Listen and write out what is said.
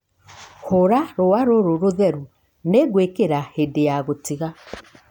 Hũra rũũa rũrũ rũtheru. Nĩ ngũkwĩra hĩndĩ ya gũtiga.